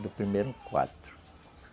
Do primeiro, quatro.